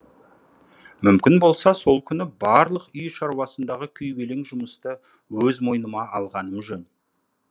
мүмкін болса сол күні барлық үй шаруасындағы күйбелең жұмысты өз мойныма алғаным жөн